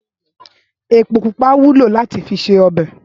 Épó púpá wúló làtí fi sé òbè